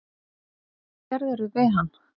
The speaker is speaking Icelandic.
Hvað gerðirðu við hann!